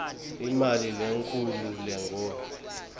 imali lenkhulu lengur